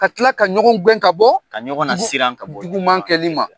Ka kila ka ɲɔgɔn gɛn ka bɔ , ka ɲɔgɔn lasiran ka bɔ juguman kɛ li ma.